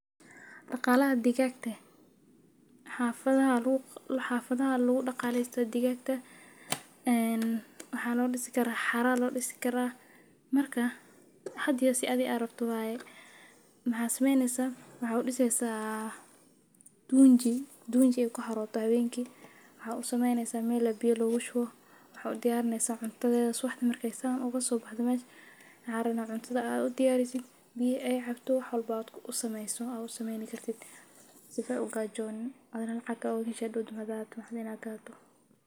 Daqalaha digagta xafadaha lagu daqaleyo digaga xero aya udisi kartaa hadawa sitha athiga rabto waye haqenki tunji ayey ku xarota cuntadheda suwaxdi marki ee kaso boxdo cuntadheda ayey u diyarineysa sifa ee u gajonin athigana lacag oga hesho.